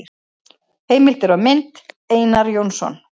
Heimildir og mynd: Einar Jónsson.